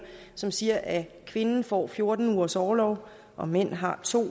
som siger at kvinden får fjorten ugers orlov og mænd har to